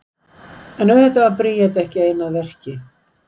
en auðvitað var bríet ekki ein að verki